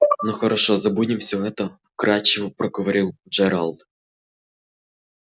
ну хорошо забудем всё это вкрадчиво проговорил джералд